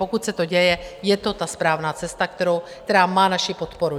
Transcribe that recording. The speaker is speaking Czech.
Pokud se to děje, je to ta správná cesta, která má naši podporu.